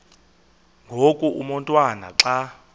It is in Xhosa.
ngoku umotwana xa